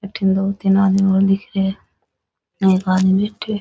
अठे दो तीन आदमी और दिख रे है और एक आदमी बैठे है।